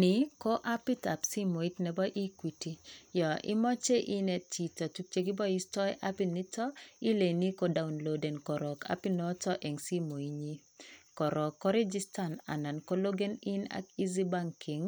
Ni ko apitab simoit nebo Equity yon imoche inet chito ilekiboisto apiniton ilenjini kodownloaden koron apit noton en simoinyin koron korigistan alan kologen in ak eazy banking